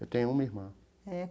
Eu tenho uma irmã. É.